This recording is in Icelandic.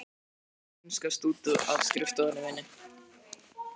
Gjörðu þá svo vel að hunskast út af skrifstofunni minni.